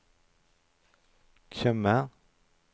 Tjøme